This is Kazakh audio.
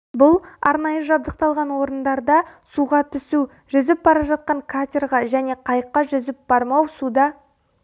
бұл арнайы жабдықталған орындарда суға түсу жүзіп бара жатқан катерға және қайыққа жүзіп бармау суда